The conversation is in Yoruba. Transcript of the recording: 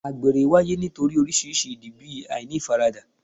Àgbèrè wáyé nítorí oríṣiríṣi ìdí bí àìní ti ìfaradà